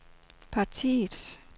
partiets